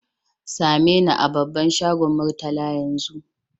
Same ni a babban shagon Murtala yanzu!